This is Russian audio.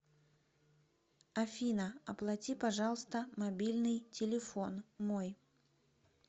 афина оплати пожалуйста мобильный телефон мой